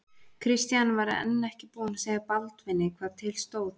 Christian var enn ekki búinn að segja Baldvini hvað til stóð.